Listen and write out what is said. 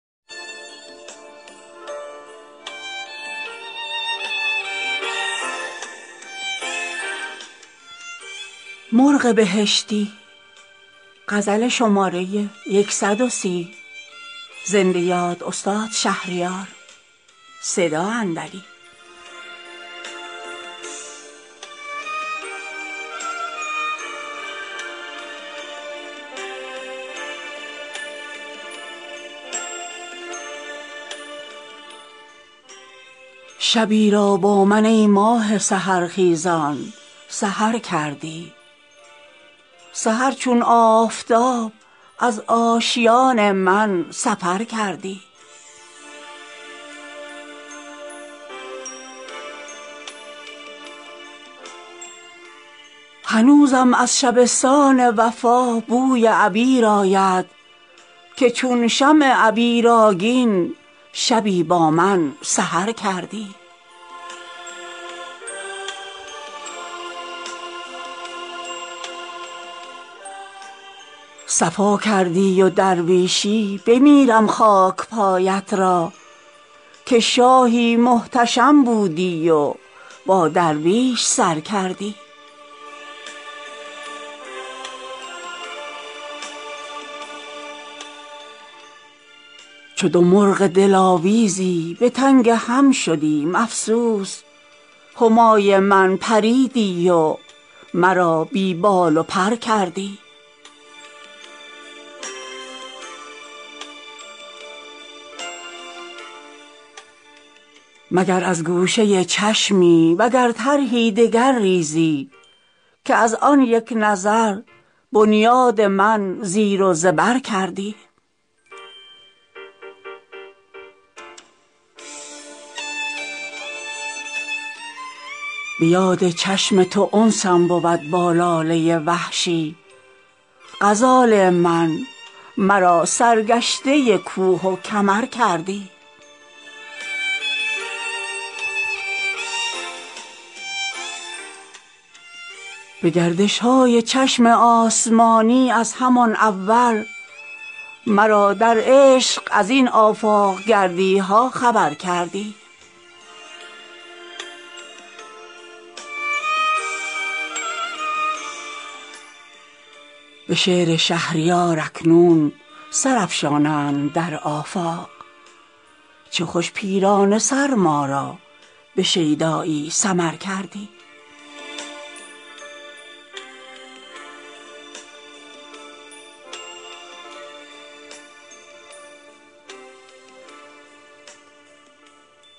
شبی را با من ای ماه سحرخیزان سحر کردی سحر چون آفتاب از آشیان من سفر کردی هنوزم از شبستان وفا بوی عبیر آید که چون شمع عبیرآگین شبی با من سحر کردی صفا کردی و درویشی بمیرم خاکپایت را که شاهی محتشم بودی و با درویش سر کردی چو دو مرغ دلاویزی به تنگ هم شدیم افسوس همای من پریدی و مرا بی بال و پر کردی تو کز آبشخور نزهتگه افلاکیان بودی چرا بر مرغکی خاکی و زندانی گذر کردی مگر از گوشه چشمی وگر طرحی دگر ریزی که از آن یک نظر بنیاد من زیر و زبر کردی به یاد چشم تو انسم بود با لاله وحشی غزال من مرا سرگشته کوه و کمر کردی به گردش های چشم آسمانی از همان اول مرا در عشق از این آفاق گردی ها خبر کردی به پای بوته ها گریم به یاد دامن مادر که از طفلی مرا آواره از ملک پدر کردی ز گرد کاروان گیرم سراغ محمل لیلی چو مجنونم به گرد کاروان ها پی سپر کردی چه آتشپاره ای بودی الا ای کیمیای دل که از برقی مس آلوده با زنگار زر کردی به شعر شهریار اکنون سر افشانند در آفاق چه خوش پیرانه سر ما را به شیدایی سمر کردی